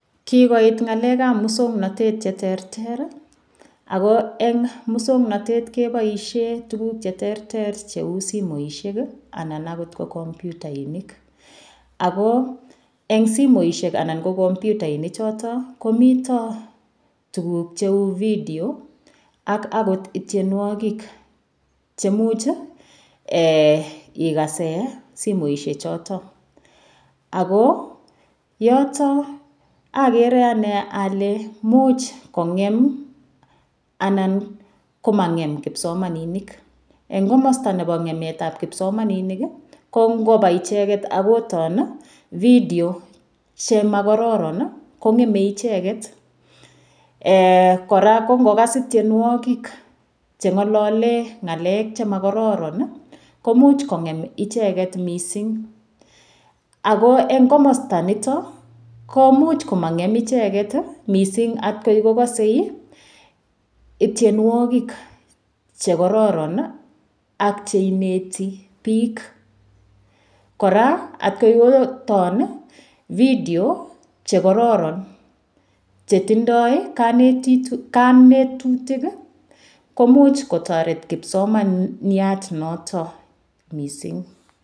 Kikoit ng'alekab muswong'notet cheterter ako eng' muswong'notet keboishe tukuk cheterter cheu simoishek anan akot ko kompyutainik ako eng' simoishek anan ko kompyutainik choto komito tukuk cheu video ak akot ityenwokik chemuch ikose simoishechoto ako yoto akere ane ale muuch kong'em anan komang'em kipsomaninik eng' komosta nebo ng'emetab kipsomaninik ko ngopwa icheget akoton video chemakororon kong'emei icheget kora ko ngikas ityenwokik Che ng'olole ng'alek chemakororon koimuuch kong'em icheget mising' ako eng' komosta noto ko muuch komang'em icheget mising' atkoi kokosei ityenwokik chekororon ak cheineti biik kora atkoi kotomo video chekororon chetindoi kanetutik komuch kotoret kipsomaniat noto mising'